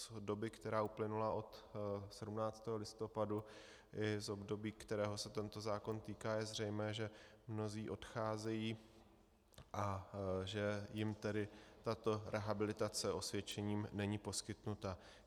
Z doby, která uplynula od 17. listopadu, i z období, kterého se tento zákon týká, je zřejmé, že mnozí odcházejí, a že jim tedy tato rehabilitace osvědčením není poskytnuta.